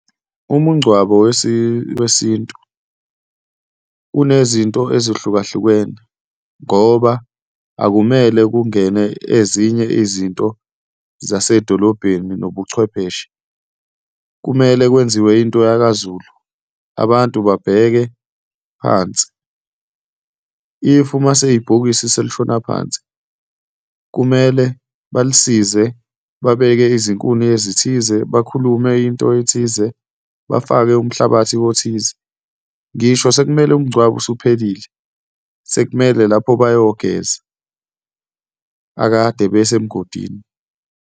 Umungcwabo wesintu unezinto ezihlukahlukene ngoba akumele kungene ezinye izinto zasedolobheni nobuchwepheshe, kumele kwenziwe into yakaZulu, abantu babheke phansi. If uma ibhokisi selishona phansi kumele balisize, babeke izinkuni ezithize, bakhulume into ethize, bafake umhlabathi othize. Ngisho sekumele umngcwabo usuphelile, sekumele lapho bayogeza akade bese mgodini.